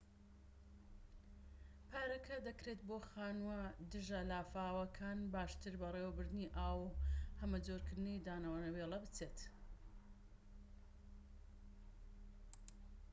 پارەکە دەکرێت بۆ خانووە دژە-لافاوەکان باشتر بەڕێوەبردنی ئاو و هەمەجۆرکردنی دانەوێڵە بچێت